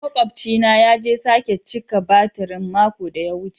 Maƙwabci na ya je sake cika batirin mako da ya wuce.